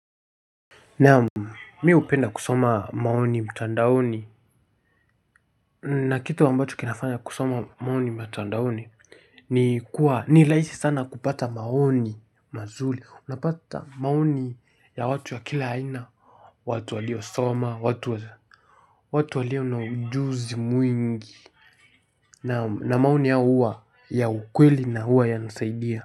Naam mi upenda kusoma maoni mtandaoni na kitu ambacho kinafanya kusoma maoni matandaoni ni kuwa ni laisi sana kupata maoni mazuli unapata maoni ya watu wa kila haina watu walio soma watu wa za watu walio na ujuzi mwingi na maoni yao huwa ya ukweli na huwa yanasaidia.